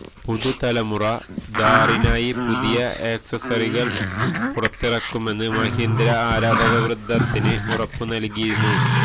പുതുതലമുറ ഥാറിനായി പുതിയ ആക്സസറികൾ പുറത്തിറക്കുമെന്ന് മഹീന്ദ്ര ആരാധകവൃന്ദത്തിന് ഉറപ്പ് നൽകിയിരുന്നു